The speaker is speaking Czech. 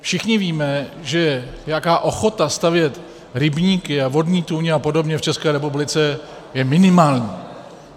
Všichni víme, že nějaká ochota stavět rybníky a vodní tůně a podobně v České republice je minimální.